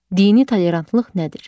Dini tolerantlıq nədir?